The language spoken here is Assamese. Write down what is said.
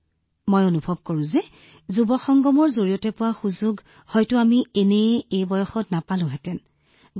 গতিকে সেই দুটা মুহূৰ্ত মোৰ বাবে বহুত ভাললগা মুহূৰ্ত আছিল আৰু মই অনুভৱ কৰোঁ যে যি সময় আমি যুৱ সংগমৰ জৰিয়তে লাভ কৰিছো সেই সুযোগ আমি পূৰ্বে লাভ কৰা নাছিলো